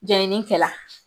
Jɛni kɛla.